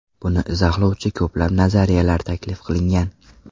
Buni izohlovchi ko‘plab nazariyalar taklif qilingan.